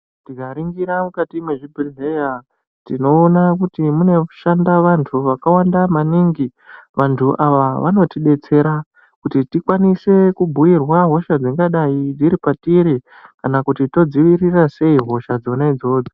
Tikaringira mikati mwezvibhedhleya tinoona kuti munoshanda vantu vakawanda maningi vantu ava vanotibetsera. Kuti tikwanise kubhuirwa hosha dzakadai dziri patiri kana kuti todzivirira sei hosha dzona idzodzo.